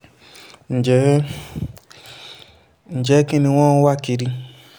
ǹjẹ́ ǹjẹ́ kín ni wọ́n ń wá kiri